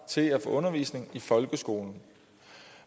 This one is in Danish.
til at få undervisning i folkeskolen